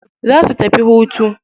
Za su tafi hutu.